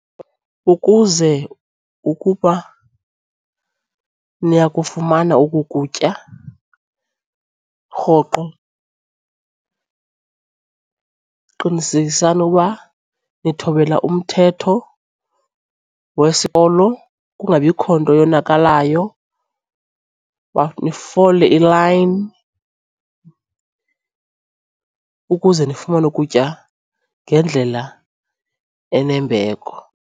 Ukuze ukuba niyakufumana oku kutya rhoqo qinisekisani ukuba nithobela umthetho wesikolo kungabikho nto yonakalayo. Nifole ilayini ukuze ndifumane ukutya ngendlela enembeko.